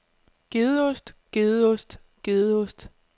gedeost gedeost gedeost